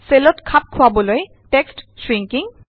চেলত খাপ খোৱাবলৈ টেক্সট শ্ৰিঙ্কিং